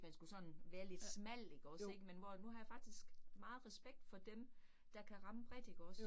Man skulle sådan være lidt smal ikke også ik, men hvor at nu har jeg faktisk meget respekt for dem, der kan ramme bredt ikke også